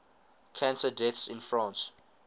cancer deaths in france